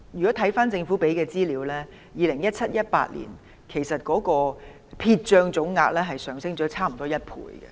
根據政府提供的資料 ，2017-2018 年度的撇帳總額上升接近1倍。